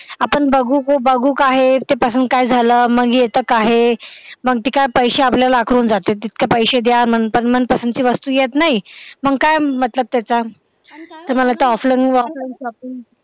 आपण बघू का बघू काहे ते पसंत काय झालं येत काहे मंग काय ते पैसे आपल्याला आकारून जाते मग तितके पैसे द्या मन पसंत ची वस्तू येत नाही मग काय मतलब त्याचा तर मला तर offline shopping